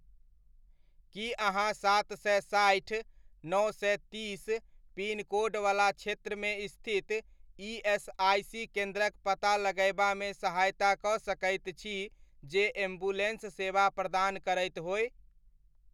की अहाँ सात सए सठि, नओ सए तीस पिनकोड वला क्षेत्रमे स्थित ईएसआइसी केन्द्रक पता लगयबामे सहायता कऽ सकैत छी जे एम्बुलेन्स सेवा प्रदान करैत होय?